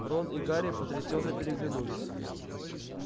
рон и гарри потрясенно переглянулись